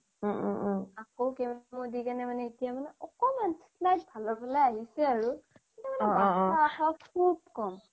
অ অ আকৌ মানে chemo দি পিনাই অকমান slight ভালৰ ফালে আহিছে আৰু কিন্তু মানে বাছি থকা আশা বহুত কম